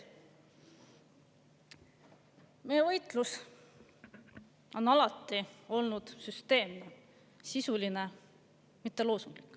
Meie võitlus on alati olnud süsteemne, sisuline, mitte loosunglik.